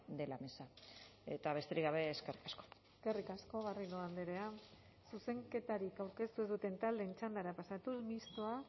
de la mesa eta besterik gabe eskerrik asko eskerrik asko garrido andrea zuzenketarik aurkeztu ez duten taldeen txandara pasatuz mistoa